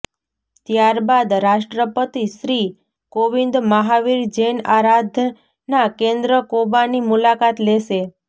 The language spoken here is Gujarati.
ત્યારબાદ રાષ્ટ્રપતિ શ્રી કોવિંદ મહાવીર જૈન આરાધના કેન્દ્ર કોબાની મુલાકાત લેશે